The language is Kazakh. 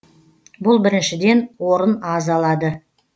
бұл біріншіден орын аз алады